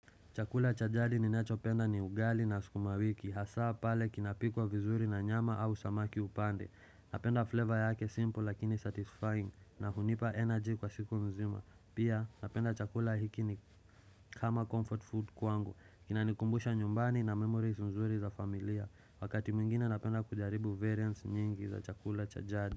Chakula cha jadi ninachopenda ni ugali na sukuma wiki. Hasa pale kinapikwa vizuri na nyama au samaki upande. Napenda flavor yake simple lakini satisfying na hunipa energy kwa siku mzima. Pia napenda chakula hiki ni kama comfort food kwangu. Inanikumbusha nyumbani na memories nzuri za familia. Wakati mwingine napenda kujaribu variants nyingi za chakula cha jadi.